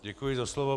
Děkuji za slovo.